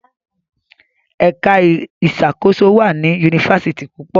Èka ìṣàkóso wá ní Yunifásitì púpọ.